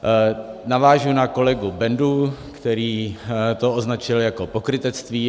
Navážu na kolegu Bendu, který to označil jako pokrytectví.